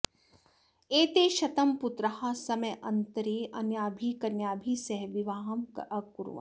एते शतं पुत्राः समयान्तरे अन्याभिः कन्याभिः सह विवाहम् अकुर्वन्